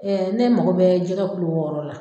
ne mago bɛ jɛgɛ wɔɔrɔ la.